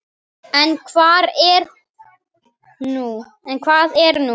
En hvað er nú?